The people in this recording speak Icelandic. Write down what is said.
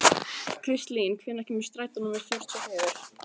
Kristlín, hvenær kemur strætó númer fjörutíu og fjögur?